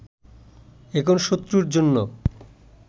এখন শত্রুর জন্য